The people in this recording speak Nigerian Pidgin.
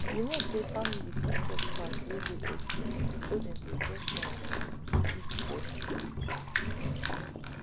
you know say family fit chop fat wen de okay so dem go get um sweet body